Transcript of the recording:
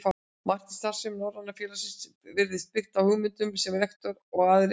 Margt í starfsemi Norræna félagsins virtist byggt á hugmyndum, sem rektor og aðrir